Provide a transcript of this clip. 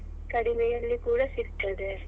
ಕಡಿಮೆಯಲ್ಲಿ ಕೂಡ ಸಿಕ್ತದೆ.